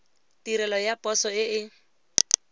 tirelo ya poso e e